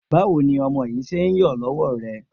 Báwo ni ọmọ yìí ṣe ń yọ lọ́wọ́ rẹ?